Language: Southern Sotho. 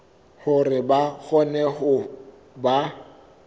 hore ba kgone ho ba